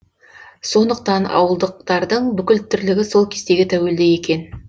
сондықтан ауылдықтардың бүкіл тірлігі сол кестеге тәуелді екен